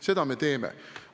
Seda me teeme.